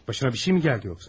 Başına bir şeymi gəldi yoxsa?